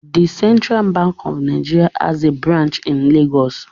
The Central Bank of Nigeria has a branch in Lagos